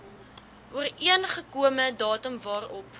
ooreengekome datum waarop